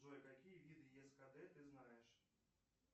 джой какие виды ескд ты знаешь